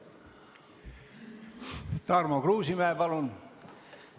Tarmo Kruusimäe, palun!